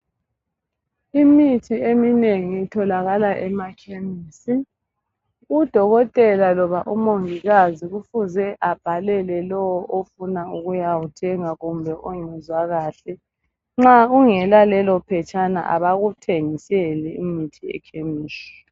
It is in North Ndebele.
Imithi eminengi itholakala emakhemisi. Udokotela loba umongikazi kufuze abhalele lowo ofuna ukuyawuthenga kumbe ongezwa kahle. Nxa ungela lelo phetshana abakuthengiseli imithi ekhemisi.